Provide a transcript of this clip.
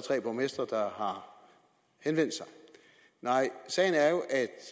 tre borgmestre der har henvendt sig nej sagen er jo at